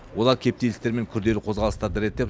олар кептелістер мен күрделі қозғалыстарды реттеп